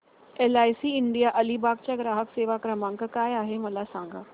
LIC India Alibag चा ग्राहक सेवा क्रमांक काय आहे मला सांगा